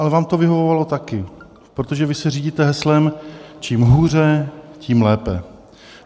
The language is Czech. Ale vám to vyhovovalo taky, protože vy se řídíte heslem "čím hůře, tím lépe".